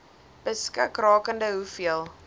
beskik rakende hoeveel